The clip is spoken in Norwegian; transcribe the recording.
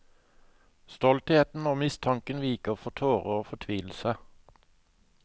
Stoltheten og mistanken viker for tårer og fortvilelse.